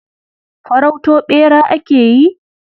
Farauto ɓera ake yi?